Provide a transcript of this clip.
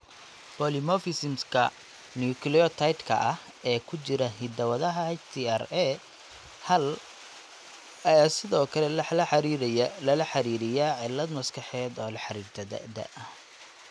Polymorphisms-ka nucleotide-ka ah ee ku jira hidda-wadaha HTRA hal ayaa sidoo kale lala xiriiriyaa cillad maskaxeed oo la xiriirta da'da.